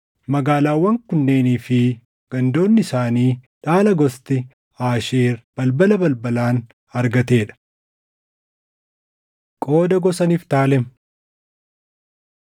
Magaalaawwan kunneenii fi gandoonni isaanii dhaala gosti Aasheer balbala balbalaan argatee dha. Qooda Gosa Niftaalem